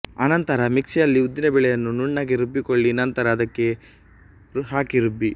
ಆನಂತರ ಮಿಕ್ಸಿಯಲ್ಲಿ ಉದ್ದಿನ ಬೇಳೆಯನ್ನು ನುಣ್ಣಗೆ ರುಬ್ಬಿಕೊಳ್ಳಿ ನಂತರ ಅದಕ್ಕೆ ಹಾಕಿ ರುಬ್ಬಿ